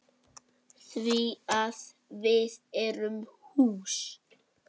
Því að við erum hús.